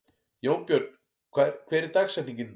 Jónbjörn, hver er dagsetningin í dag?